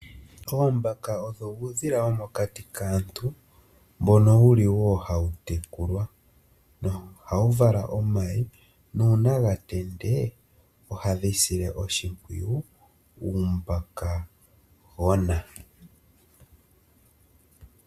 Oombaka odho uudhila womokati kaantu, mbono wuli woo hawu tekulwa. Ohawu vala omayi nuuna gatende ohadhi sile oshimpwuyu uumbakagona.